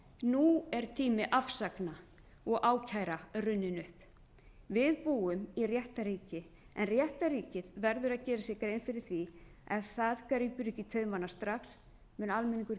nú er tími afsagna og ákæra runninn upp við búum í réttarríki en réttarríkið verður að gera sér grein fyrir því að ef það grípur ekki í taumana strax mun almenningur